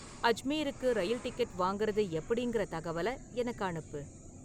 அஜ்மீருக்கு rail ticket வாங்குறது எப்படிங்குற தகவலை எனக்கு அனுப்பு